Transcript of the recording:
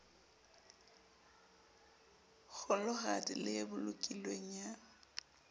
kgolohadi le e bolokilweng ya